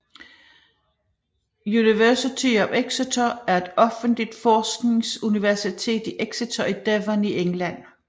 University of Exeter er et offentligt forskningsuniversitet i Exeter i Devon i England